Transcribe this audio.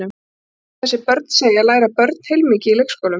Samkvæmt því sem þessi börn segja læra börn heilmikið í leikskólum.